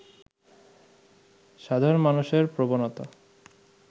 সাধারণ মানুষের প্রবণতা